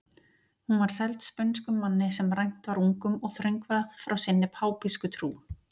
Hún var seld spönskum manni sem rænt var ungum og þröngvað frá sinni pápísku trú.